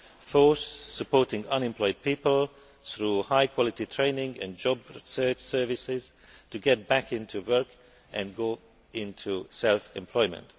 fourth, supporting unemployed people, through high quality training and job search services, to get back into work and go into self employment